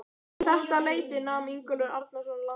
Um þetta leyti nam Ingólfur Arnarson land í